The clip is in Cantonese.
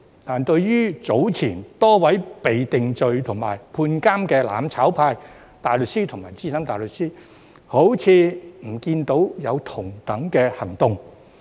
但是，對於早前多位被定罪及判監的"攬炒派"大律師和資深大律師，卻好像不見有同等的行動。